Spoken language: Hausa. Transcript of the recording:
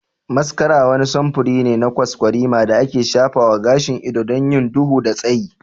Mascara wani samfuri ne na kwaskwarima da ake shafa wa gashin ido don yin duhu da tsayi.